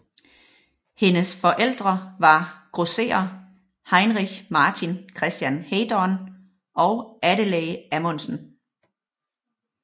Hendes forældre var grosserer Heinrich Martin Christian Heydorn og Adelaide Amondsen